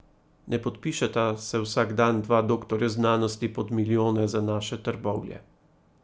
Ne podpišeta se vsak dan dva doktorja znanosti pod milijone za naše Trbovlje!